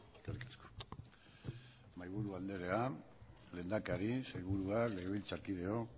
eskerrik asko mahaiburu anderea lehendakari sailburuak legebiltzarkideak